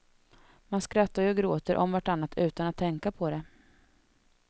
Man skrattar ju och gråter om vartannat utan att tänka på det.